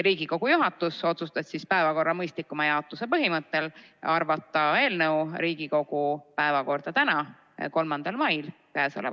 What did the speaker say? Riigikogu juhatus otsustas päevakorra mõistlikuma jaotuse huvides arvata eelnõu Riigikogu tänase, 3. mai istungi päevakorda.